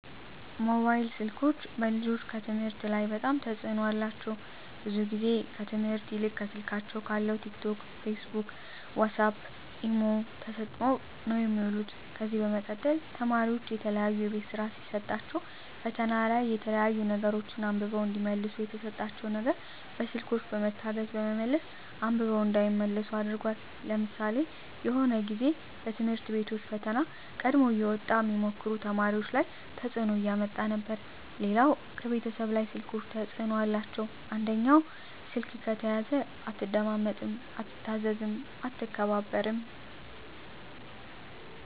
ሞባይል ስልኮች በልጆች ከትምህርት ላይ በጣም ተጽዕኖ አላቸው ብዙ ግዜ ከትምህርት ይልቅ ከስልካቸው ካለው ቲክ ቶክ ፊስቡክ ዋሳፕ ኢሞ ተሰጠው ነው የሚውሉ ከዚ በመቀጠል ተማሪዎች የተለያዩ የቤት ስራ ሲሰጣቸዉ ፈተና ላይ የተለያዩ ነገሮች አንብበው እዲመልሱ የተሰጣቸው ነገር በስልኮች በመታገዝ በመመለስ አንብበው እንዳይመልሱ አድርጓል ለምሳሌ የሆነ ግዜ በትምህርት ቤቶች ፈተና ቀድሞ እየወጣ ሚሞክሩ ተማሪዎች ላይ ተጽዕኖ እያመጣ ነበር ሌላው ከቤተሰብ ላይ ስልኮች ተጽዕኖ አላቸው አንደኛው ስልክ ከተያዘ አትደማመጥም አትታዘዝም አትከባበርም